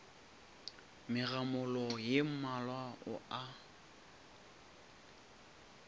megamolo ye mmalwa o a